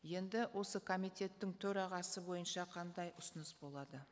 енді осы комитеттің төрағасы бойынша қандай ұсыныс болады